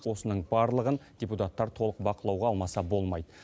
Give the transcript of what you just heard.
осының барлығын депутаттар толық бақылауға алмаса болмайды